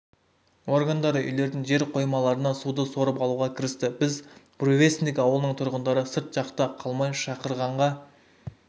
органдары үйлердің жер қоймаларынан суды сорып алуға кірісті біз буревестник ауылының тұрғындары сырт жақта қалмай шақырғанға